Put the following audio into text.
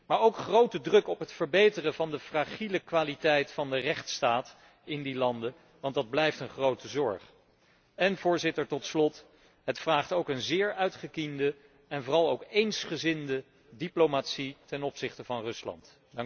Maar ook om grote druk op het verbeteren van de fragiele kwaliteit van de rechtsstaat in die landen, want dat blijft een grote zorg. En, Voorzitter, tot slot, het vereist ook een zeer uitgekiende en vooral eensgezinde diplomatie ten opzichte van Rusland.